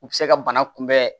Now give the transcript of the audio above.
U bɛ se ka bana kunbɛn